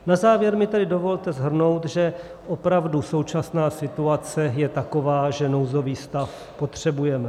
Na závěr mi tedy dovolte shrnout, že opravdu současná situace je taková, že nouzový stav potřebujeme.